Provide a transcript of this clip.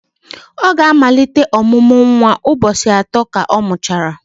ọ ga-amalite ọmụmụ nwa ụbọchị atọ ka ọ mụchara